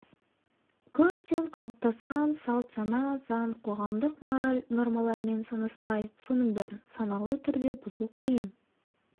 көптен қалыптасқан салт-сана заң қоғамдық мораль нормаларымен санаспай соның бәрін саналы түрде бұзу қиын